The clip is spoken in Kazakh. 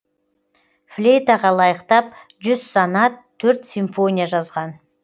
флейтаға лайықтап жүз сонат төрт симфония жазған